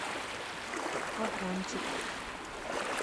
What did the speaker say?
аврамчик